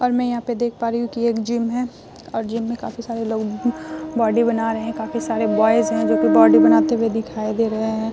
और मैं यहाँ पे देख पा रही हूँ की यह एक जिम है और जिम में काफी सारे लोग बॉडी बना रहे हैं। काफी सारे बॉयज हैं जो कि बॉडी बनाते हुए दिखाई दे रहें हैं।